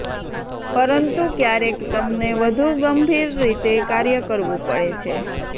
પરંતુ ક્યારેક તમને વધુ ગંભીર રીતે કાર્ય કરવું પડે છે